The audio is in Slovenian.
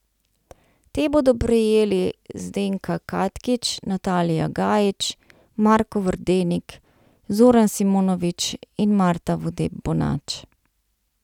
Te bodo prejeli Zdenka Katkič, Natalija Gajić, Marko Verdenik, Zoran Simonović in Marta Vodeb Bonač.